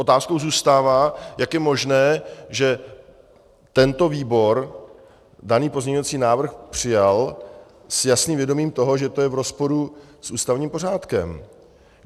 Otázkou zůstává, jak je možné, že tento výbor daný pozměňovací návrh přijal s jasným vědomím toho, že je to v rozporu s ústavním pořádkem.